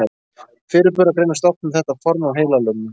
Fyrirburar greinast oft með þetta form af heilalömun.